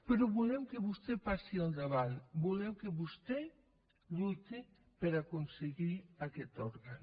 però volem que vostè passi al davant volem que vostè lluiti per aconseguir aquest òrgan